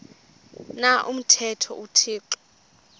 na umthetho uthixo